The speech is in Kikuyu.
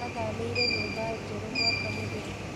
Athamĩire nyũmba njerũ mwaka mũthiru